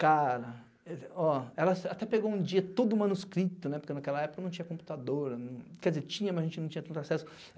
Cara, ó ela até pegou um dia todo manuscrito, né, porque naquela época não tinha computadora, quer dizer, tinha, mas a gente não tinha tanto acesso.